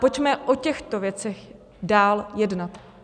Pojďme o těchto věcech dál jednat.